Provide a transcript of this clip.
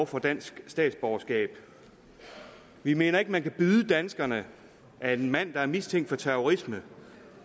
får dansk statsborgerskab vi mener ikke man kan byde danskerne at en mand der er mistænkt for terrorisme